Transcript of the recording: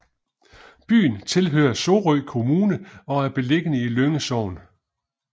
Byen tilhører Sorø Kommune og er beliggende i Lynge Sogn